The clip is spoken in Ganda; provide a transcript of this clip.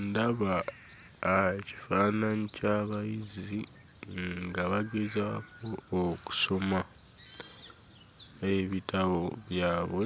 Ndaba ah, ekifaananyi ky'abayizi nga bagezaako okusoma ebitabo byabwe,